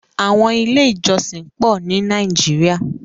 Àwọn ilé-ìjọsìn pọ̀ ní Nàíjíríà.